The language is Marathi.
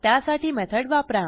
त्यासाठी मेथड वापरा